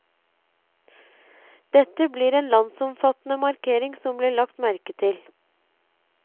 Dette ble en landsomfattende markering som ble lagt merke til.